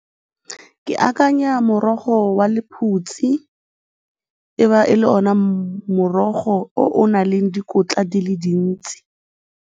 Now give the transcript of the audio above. Ke akanya morogo wa lephutsi e ba e le ona morogo o o nang le dikotla di le dintsi.